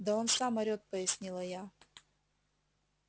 да он сам орет пояснила я